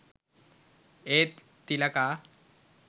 ඒත් තිලකා